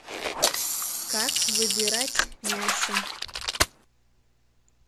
как выбирать мясо